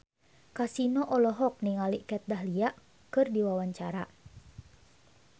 Kasino olohok ningali Kat Dahlia keur diwawancara